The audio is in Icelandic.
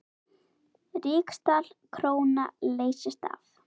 Ríksdal króna leysti af.